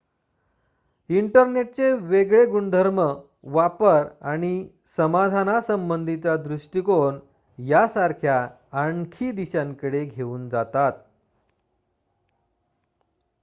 इंटरनेटचे वेगळे गुणधर्म वापर आणि समाधानासंबंधीचा दृष्टीकोण यांसारख्या आणखी दिशांकडे घेऊन जातात